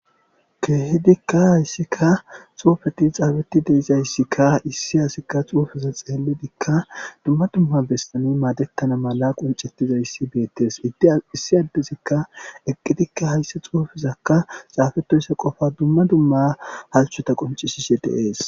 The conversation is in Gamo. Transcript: keehidikka hayssikka xuufeti xaafetti deizayssikka issi hasikka xuufiza xeeledikka dumma dumma bestani maadettana mala qoncettizayssi beettes idde issi addezikka eqqidikka haysse xuufizakka xaafetoysa qofa dumma dumma halchota qoncishishe de'ees